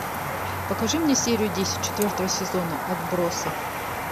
покажи мне серию десять четвертого сезона отбросы